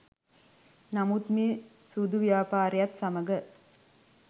නමුත් මේ සූදු ව්‍යාපාරයත් සමග